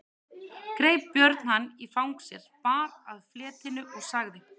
Greip Björn hann í fang sér, bar að fletinu og sagði